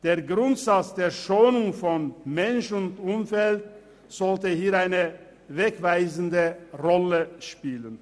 Der Grundsatz der Schonung von Mensch und Umwelt sollte eine wegweisende Rolle spielen.